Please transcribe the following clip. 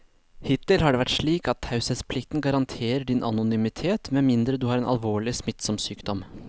Hittil har det vært slik at taushetsplikten garanterer din anonymitet med mindre du har en alvorlig, smittsom sykdom.